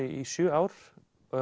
í sjö ár